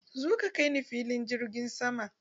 Zo ka kai ni filin jirgin sama!